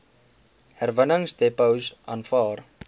herwinningsdepots aanvaar